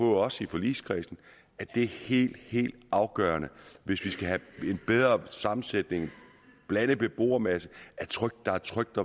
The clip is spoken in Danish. os i forligskredsen at det er helt helt afgørende hvis vi skal have en bedre sammensætning en blandet beboermasse at der er trygt